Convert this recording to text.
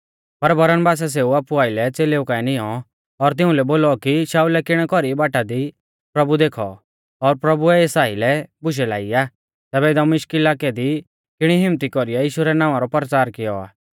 पर बरनबासै सेऊ आपु आइलै च़ेलेऊ काऐ निऔं और तिउंलै बोलौ कि शाऊलै किणै कौरी बाटा दी प्रभु देखौ और प्रभुऐ एस आइलै बुशै लाई आ तैबै दमिश्क इलाकै दी किणी हिम्मत्ती कौरीऐ यीशु रै नावां रौ परचार किऔ आ